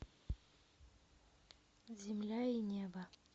земля и небо